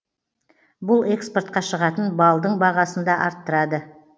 бұл экспортқа шығатын балдың бағасын да арттырады